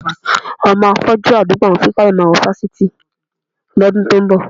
Ọmọ afọ́jú àdúgbò àwọn Fikáyọ̀ máa wọ fásitì lọ́dún tó ń bọ̀.